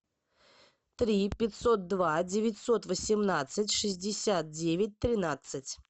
три пятьсот два девятьсот восемнадцать шестьдесят девять тринадцать